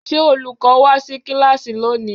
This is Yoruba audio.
Ṣé olùkọ́ wá sí kíláàsì lónìí?